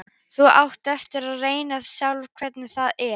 Þú átt eftir að reyna það sjálf hvernig það er.